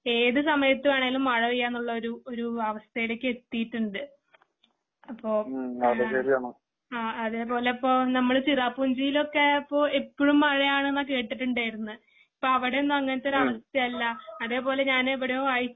ഏത് സമയത്ത് വേണേലും മഴ പെയ്യാ എന്നുള്ള ഒരു ഒരു അവസ്ഥയിലേക്ക് എത്തിയിട്ടുണ്ട്. അപ്പോ അതേ പോലെ ഇപ്പോ നമ്മള് ചിറാപുഞ്ചിയിലൊക്കെ എപ്പോഴും മഴ ആണെന്നാ കേട്ടിട്ട് ഉണ്ടായിരുന്നേ. ഇപ്പോ അവിടെയൊന്നും അങ്ങനെത്തെ ആവസ്ഥയല്ല അതേ പോലെ ഞാൻ